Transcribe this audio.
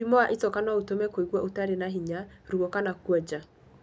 Mũrimũ wa icoka no ũtũme kũigua ũtarĩ ba hinya, ruo kana kuonja.